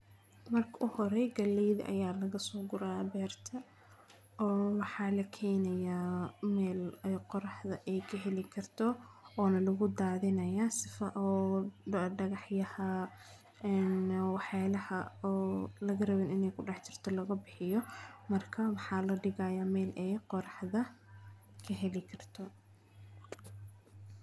Marka uu hore gaaleyda ayaa laga soo guraa ya beerta oo waxa lakenaya meel aay qoraxda aay ka helii karto ona lagu dathinayo sifo oo dagaxyaha een wax yala oo laga rawin inay kudahjirto loga bihiyo marka maxa laga digaya meel aay qoraxda ka heli karto.